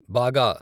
బాగా